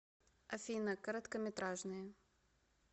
афина короткометражные